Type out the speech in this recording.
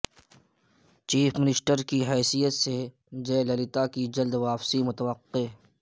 chief minister کی حیثیت سے جیہ للیتا کی جلد واپسی متوقع